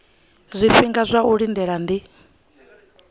zwifhinga zwa u lindela ndi